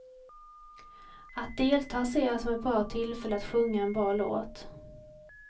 Att delta ser jag som ett bra tillfälle att sjunga en bra låt.